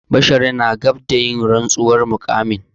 Bashir na gab da yin rantsuwar muƙamin.